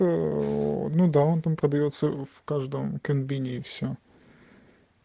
ну да он там продаётся в каждом кабинете все